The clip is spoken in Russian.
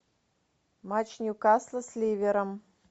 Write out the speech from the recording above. матч ньюкасла с ливером